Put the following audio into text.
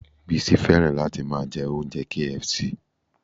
Bísí fẹ́ràn láti máa jẹ oúnjẹ KFC